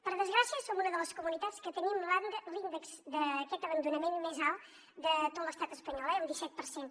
per desgràcia som una de les comunitats que tenim l’índex d’aquest abandonament més alt de tot l’estat espanyol eh un disset per cent